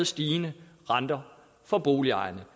stigende renter for boligejerne